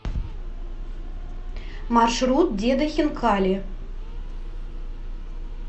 маршрут деда хинкали